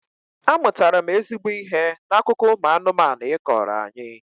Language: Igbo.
Amụtara m ezigbo ihe n'akụkọ ụmụ anụmanụ ị kọọrọ anyị